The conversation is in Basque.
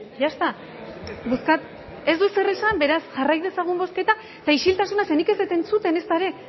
ya está ez du ezer esan beraz jarrai dezagun bozketa eta isiltasuna ze nik ez dut entzuten ezta ere